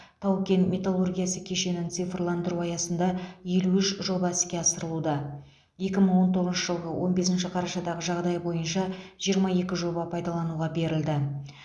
тау кен металлургиясы кешенін цифрландыру аясында елу үш жоба іске асырылуда екі мың он тоғызыншы жылғы он бесінші қарашадағы жағдай бойынша жиырма екі жоба пайдалануға берілді